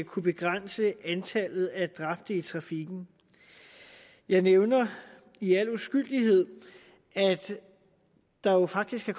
kunne begrænse antallet af dræbte i trafikken jeg nævner i al uskyldighed at der jo faktisk er